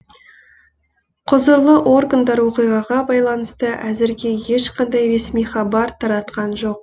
құзырлы органдар оқиғаға байланысты әзірге ешқандай ресми хабар таратқан жоқ